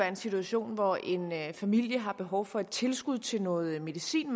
en situation hvor en familie har behov for et tilskud til noget medicin